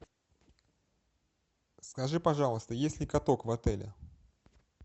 скажи пожалуйста есть ли каток в отеле